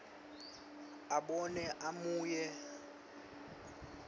abone abuye ahumushe